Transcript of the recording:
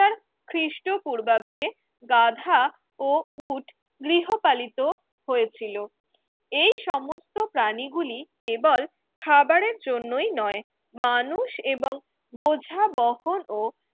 খ্রিস্টপূর্বাব্দে গাধা ও উট গৃহপালিত হয়েছিল এই সমস্ত প্রাণীগুলি কেবল খাবারের জন্যই নয় মানুষ এবং বোঝা বহন ও